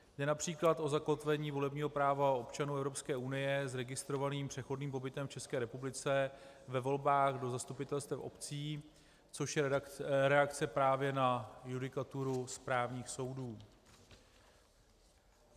Jde například o zakotvení volebního práva občanů EU s registrovaným přechodným pobytem v České republice ve volbách do zastupitelstev obcí, což je reakce právě na judikaturu správních soudů.